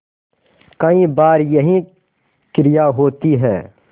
कई बार यही क्रिया होती है